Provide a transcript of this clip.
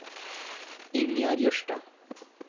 Ingjerd Jørstad